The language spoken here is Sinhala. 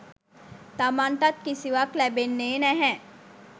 තමන්ටත් කිසිවක් ලැබෙන්නේ නැහැ.